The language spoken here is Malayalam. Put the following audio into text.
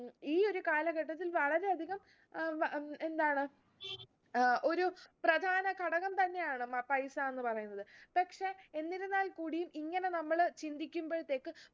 ഉം ഈ ഒരു കാലഘട്ടത്തിൽ വളരെ അധികം ഏർ എന്താണ് ഏർ ഒരു പ്രധാന ഘടകം തന്നെയാണ് മ പൈസ എന്ന് പറയുന്നത് പക്ഷെ എന്നിരുന്നാൽ കൂടിയും ഇങ്ങനെ നമ്മൾ ചിന്തിക്കുമ്പോഴത്തേക്ക്